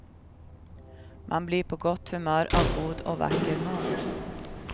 Man blir på gott humör av god och vacker mat.